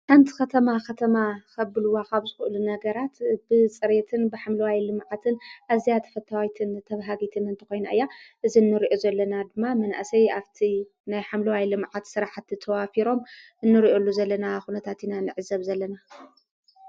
ኣንቲ ኸተማ ኸተማ ኸብልዋ ኻብ ጽኡሉ ነገራት ብጽሬትን ብኃምሎዋይ ልመዓትን እዚኣት ፈተዋይትን ተብሃጊትንእንተ ኾይኑ እያ እዝንርኦ ዘለና ድማ ምንእሰይ ኣብቲ ናይ ሓምሎዋይ ሊመዓት ሠራሕቲ ተዋፊሮም እንርኦሉ ዘለና ዂነታቲኢና ንዕዘብ ዘለና።